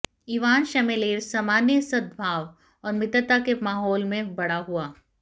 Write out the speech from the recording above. Ivan श्मेलेव सामान्य सद्भाव और मित्रता के माहौल में बड़ा हुआ